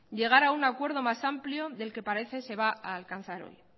llegar a un acuerdo más amplio del que parece se va a alcanzar hoy